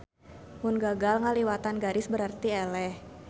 Mun gagal ngaliwatan garis berarti eleh.